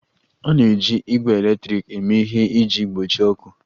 A na-eji igbe eletrik eme ihe iji gbochie ọkụ